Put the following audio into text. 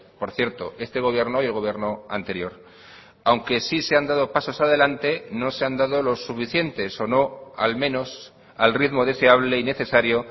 por cierto este gobierno y el gobierno anterior aunque sí se han dado pasos adelante no se han dado los suficientes o no al menos al ritmo deseable y necesario